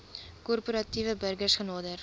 korporatiewe burgers genader